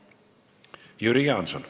Jüri Jaanson.